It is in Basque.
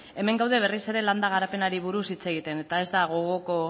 hemen gaude berriz ere landa garapenari buruz hitz egiten eta ez da gogoko